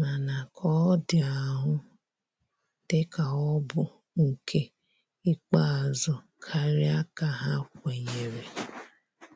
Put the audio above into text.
mana ka ọ di ahụ di ka ọ bụ nke ikpeazu karia ka ha kwenyere.